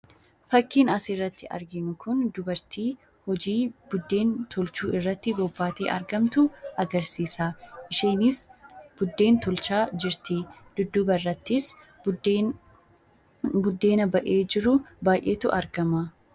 Fakkiin asirratti arginu kun dubartii hojii buddeen tolchuu irratti bobbaatee argamtu agarsiisa. Isheenis buddeen tolchaa jirti. Dudduuba irrattis buddeena ba'ee jiru baay'eetu argama.